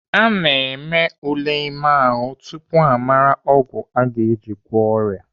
Ana eme ule ime ahụ tupu amara ọgwụ aga eji agwọ ọrịa.